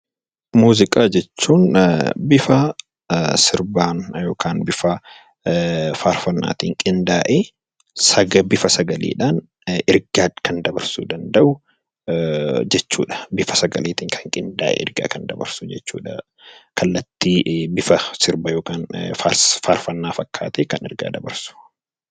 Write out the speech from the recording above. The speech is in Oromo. Muuziqaa jechuun bifa sirbaan yookiin faarfannaatiin qindaa'ee bifa sagaleetiin ergaa kan dabarsuu danda'u jechuudha.